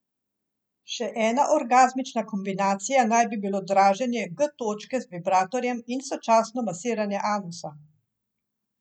Še ena orgazmična kombinacija naj bi bilo draženje G točke z vibratorjem in sočasno masiranje anusa.